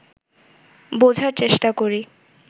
বোঝার চেষ্টা করি